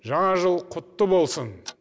жаңа жыл құтты болсын